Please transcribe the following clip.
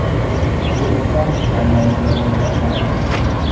Bu esa tanlovni birmuncha osonlashtiradi.